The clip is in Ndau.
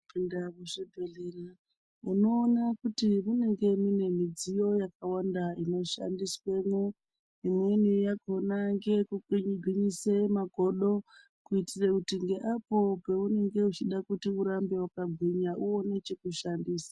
Pinde muzvibhedhlera unoona kuti munenge mune mudziyo yakawanda inoshandiswemwo imweni yakhona ngekukwigwinyise makodo kuitire kuti Ngeapo peunenge uchida kuramba wakagwinya uone chekushandisa.